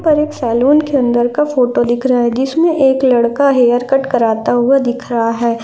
पर एक सैलून अंदर के फोटो दिख रहा है जिसमें एक लड़का हेयरकट कराता हुआ दिख रहा है।